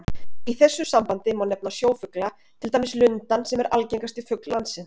Í þessu sambandi má nefna sjófugla, til dæmis lundann sem er algengasti fugl landsins.